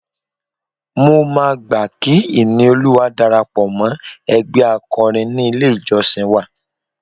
Mo máa gbà kí Ìníolúwa darapọ̀ mọ́ ẹgbẹ́ akọrin ní ilé-ìjọ́sìn wa